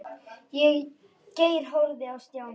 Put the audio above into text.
Geir horfði á Stjána.